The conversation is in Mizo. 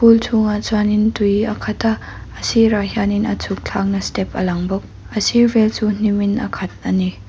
pool chhung ah chuan in tui a khat a a sirah hianin a chhuk thlak na step a lang bawk a sir vel chu hnim in a khat a ni.